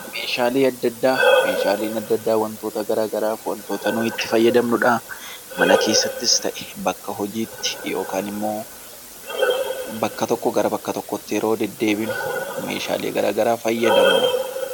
Meeshaaleen adda addaa wantoota garaa garaaf wantoota nuyi itti fayyadamnudha. Mana keessattis ta'e bakka hojiitti yookaan immoo bakka tokkoo gara bakka tokkootti yeroo deddeebinu meeshaalee gara garaa fayyadamna.